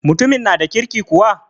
Mutumin na da kirki kuwa?